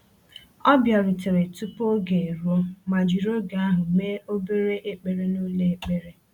O bịarutere tupu oge eruo ma jiri oge ahụ mee obere ekpere n’ụlọ ekpere.